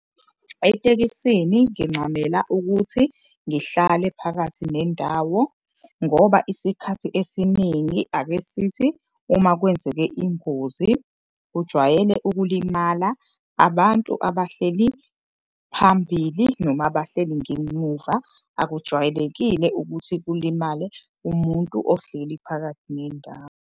Etekisini ngincamela ukuthi ngihlale phakathi nendawo ngoba isikhathi esiningi ake sithi uma kwenzeke ingozi. Kujwayele ukulimala abantu abahleli phambili noma abahleli ngemuva. Akujwayelekile ukuthi kulimale umuntu ohleli phakathi ngendawo.